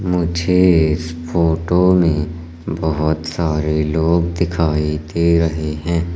मुझे इस फोटो में बहुत सारे लोग दिखाई दे रहे हैं।